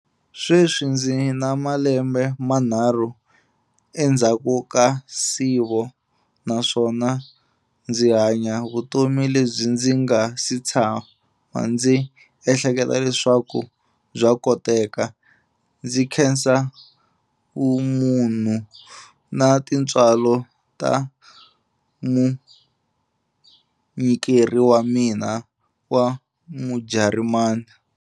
Sweswi ndzi na malembe manharhu endzhaku ka nsivo naswona ndzi hanya vutomi lebyi ndzi nga si tshama ndzi ehleketa leswaku bya koteka, ndzi khensa vumunhu na tintswalo ta munyikeri wa mina wa Mujarimani.